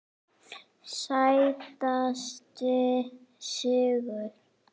Sætasti sigur?